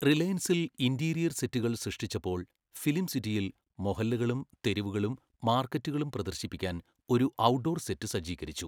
റിലയൻസിൽ interior സെറ്റുകൾ സൃഷ്ടിച്ചപ്പോൾ film സിറ്റിയിൽ മൊഹല്ലകളും തെരുവുകളും മാർക്കറ്റുകളും പ്രദർശിപ്പിക്കാൻ ഒരു ഔട്ട്ഡോർ സെറ്റ് സജ്ജീകരിച്ചു.